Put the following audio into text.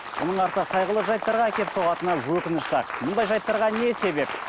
мұның арты қайғылы жайттарға әкеліп соғатыны өкінішті ақ мұндай жайттарға не себеп